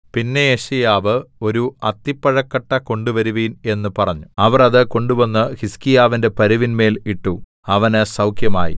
പിന്നെ യെശയ്യാവ് ഒരു അത്തിപ്പഴക്കട്ട കൊണ്ടുവരുവിൻ എന്ന് പറഞ്ഞു അവർ അത് കൊണ്ടുവന്ന് ഹിസ്കീയാവിന്റെ പരുവിന്മേൽ ഇട്ടു അവന് സൗഖ്യമായി